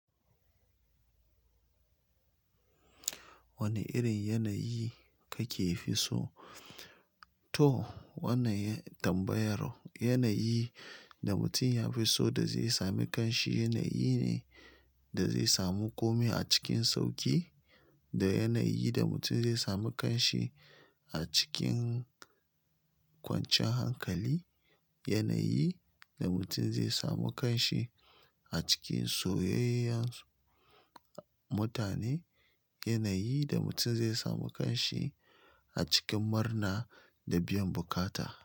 Wane irin yanayi kake fi so? To, wannan tambayar yanayi da mutum ya fi so da zai sami kanshi yanayi ne da zai samu komai a cikin sauƙi, da yanayi da mutum zai sami kanshi a cikin kwanciyan hankali, yanayi da mutum zai sami kanshi a cikin soyayya mutane, yanayi da mutum zai sami kanshi a cikin murna da biyan bukata.